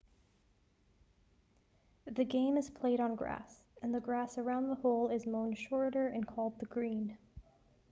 the game is played on grass and the grass around the hole is mown shorter and called the green